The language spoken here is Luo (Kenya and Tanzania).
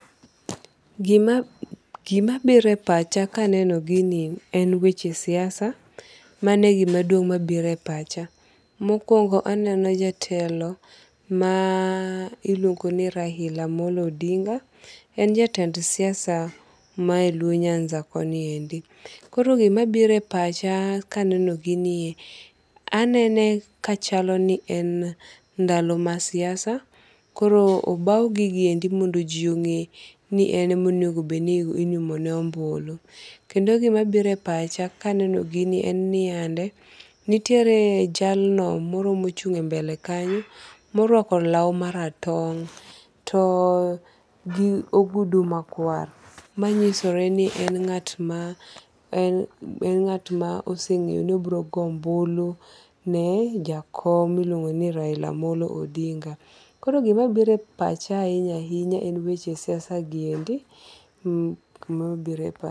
Gima biro e pach ka aneno gini en weche siasa. Mane gima duong' mabiro e pacha. Mokuongo aneno jatelo ma iluongo ni Raila Amolo Odinga. En jatend siasa ma e Luo Nyanza koniendi. Koro gima biro e pacha ka aneno ginie. Anene ka chalo ni en ndalo ma siasa. Koro obaw gigi endi mondo ji ong'e ni en emonego bed ni inyumo ne ombulu. Kendo gima biro e pach ka aneno ginie en niande, nitiere jalno moro mochung e mbele kanyo moruako law maratong' to gi ogudu ma kwar machisore ni en ng'at ma oseng'eyo ni oburo goyo ombulu ne jakom miluongo ni Raila Amolo Odinga. Koro gima biro e pacha ahinya ahinya en weche siasa gi endi. Emabiro e pacha.